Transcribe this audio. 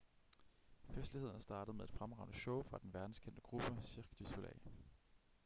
festlighederne startede med et fremragende show fra den verdenskendte gruppe cirque du soleil